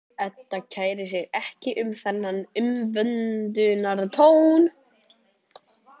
Edda kærir sig ekki um þennan umvöndunartón.